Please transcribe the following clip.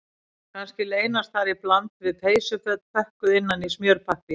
Kannski leynast þar í bland við peysuföt pökkuð innan í smjörpappír